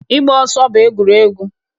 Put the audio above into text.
Ịgba ọsọ bụ egwuregwu